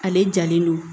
Ale jalen don